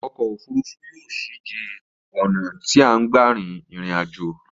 Ọkò òfurufú yóò ṣi jé ọ̀nà tí a ń gbà rin ìrìn aj̀ò.